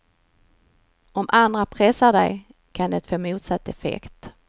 Om andra pressar dig kan det få motsatt effekt.